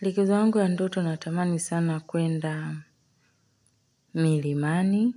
Likizo yangu ya ndoto natamani sana kwenda milimani